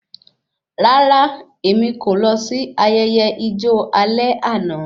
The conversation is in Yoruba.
Rárá, èmi kò lọ sí ayẹyẹ ijo alẹ́ àna